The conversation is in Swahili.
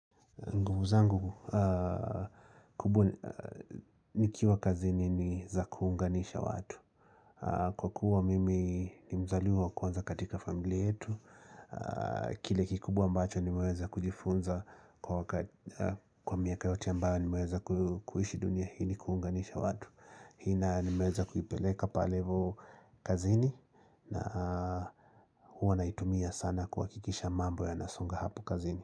Nguvu zangu, kubwa nikiwa kazini ni za kuunganisha watu. Kwa kuwa mimi ni mzaliwa kwanza katika familia yetu. Kile kikubwa ambacho nimeweza kujifunza kwa miaka yote ambayo niweza kuishi dunia hii ni kuunga nisha watu. Hii nayo nimeweza kuipeleka pale hivo kazini na huwa naitumia sana kuhakikisha mambo yanasonga hapu kazini.